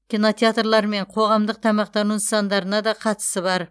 кинотеатрлар мен қоғамдық тамақтану нысандарына да қатысы бар